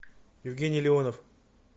евгений леонов